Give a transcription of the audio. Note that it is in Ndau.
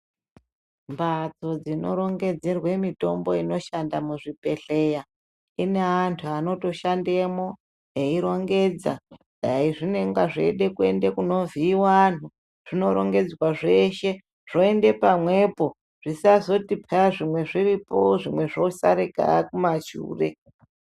Mhatso dzinorongedzerwe mitombo inoshanda muzvibhedhlera ine antu abotoshandemwo eirongedza aizvinenge zveide kuende kunovhiiwe anhu zvinorongedzwa zceshe zvoende pamwepo zvisazoti paa zvimwe zviriko zvimwe zvosarika kumashure .